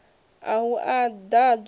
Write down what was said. a ha u ḓ adzwa